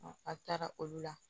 a taara olu la